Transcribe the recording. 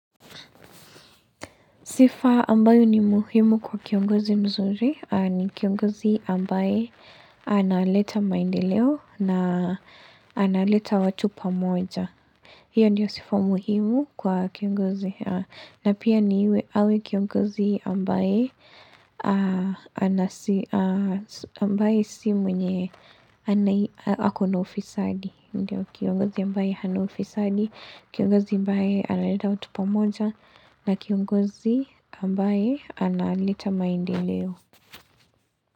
Sifa ambayo ni muhimu kwa kiongozi mzuri ni kiongozi ambae analeta maendeleo na analeta watu pamoja. Hiyo ndio sifa muhimu kwa kiongozi. Na pia awe kiongozi ambaye ambaye si mwenye ako na ufisadi ndio Kiongozi ambaye hana ufisadi, kiongozi ambaye analeta watu pamoja na kiongozi ambaye analeta maendeleo.